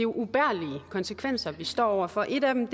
ubærlige konsekvenser vi står over for en af dem